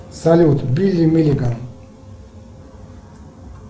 салют билли миллиган